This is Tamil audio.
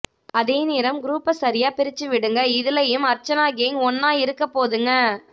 அதே நேரம் குருப்ப சரியா பிரிச்சி விடுங்க இதுலயும் அர்சனா கேங் ஒன்னா இருக்க போதுங்க